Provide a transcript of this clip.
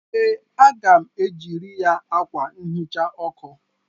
Ee, m ga-ejiri ya akwa nhicha ọkụ.